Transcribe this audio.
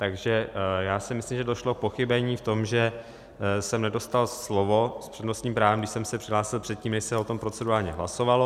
Takže já si myslím, že došlo k pochybení v tom, že jsem nedostal slovo s přednostním právem, když jsem se přihlásil předtím, než se o tom procedurálně hlasovalo.